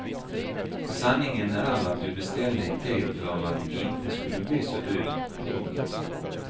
Sanningen är att vi beställde i tid för att det inte skulle bli så dyrt. punkt